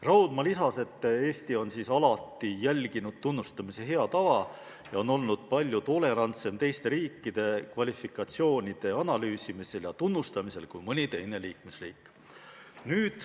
Raudma lisas, et Eesti on alati järginud tunnustamise head tava ja on olnud teiste riikide kvalifikatsioonide analüüsimisel ja tunnustamisel palju tolerantsem kui mõni teine liikmesriik.